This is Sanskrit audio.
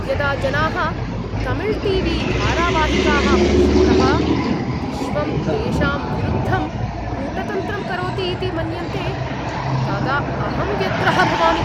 यदा जनाः तमिळ् टी वी धारावाहिकाः पश्यन्तः विश्वं तेषां विरुद्धं कूटतन्त्रं करोति इति मन्यन्ते तदा अहं व्यग्रः भवामि।